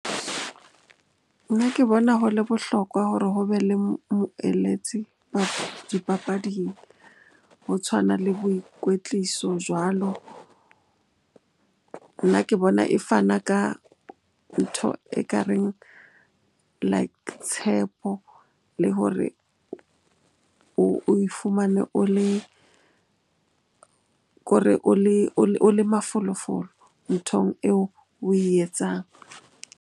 Nna ke bona ho le bohlokwa hore ho be le moeletsi dipapading ho tshwana le boikwetliso jwalo. Nna ke bona e fana ka ntho ekareng like tshepo le hore oe fumane o le ko re o le mafolofolo nthong eo oe etsang.